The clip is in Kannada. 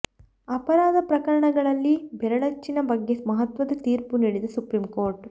ಅಪರಾಧ ಪ್ರಕರಣಗಳಲ್ಲಿ ಬೆರಳಚ್ಚಿನ ಬಗ್ಗೆ ಮಹತ್ವದ ತೀರ್ಪು ನೀಡಿದ ಸುಪ್ರೀಂ ಕೋರ್ಟ್